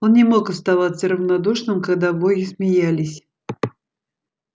он не мог оставаться равнодушным когда боги смеялись